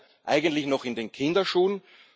Es steckt ja eigentlich noch in den Kinderschuhen.